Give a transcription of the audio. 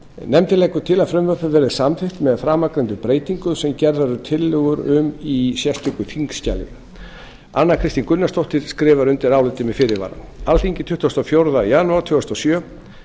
nefndin leggur til að frumvarpið verði samþykkt með framangreindum breytingum sem gerðar eru tillögur um í sérstöku þingskjali anna kristín gunnarsdóttir skrifar undir álitið með fyrirvara alþingi tuttugasta og fjórða jan tvö þúsund og sjö